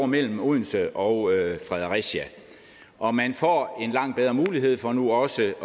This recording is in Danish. mellem odense og fredericia og man får en langt bedre mulighed for nu også